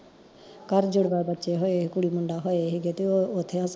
ਘਰ ਜੁੜਵਾ ਬੱਚੇ ਹੋਏ ਕੁੜੀ ਮੁੰਡਾ ਹੋਏ ਹੀ ਗੇ ਤੇ ਓ ਓਥੇ ਹਸਪਤਾਲ